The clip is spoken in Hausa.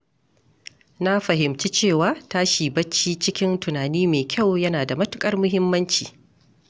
Na fahimci cewa tashi bacci cikin tunani mai kyau yana da matuƙar muhimmanci.